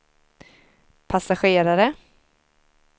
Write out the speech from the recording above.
passagerare